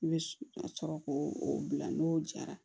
I bɛ ka sɔrɔ k'o o bila n'o jara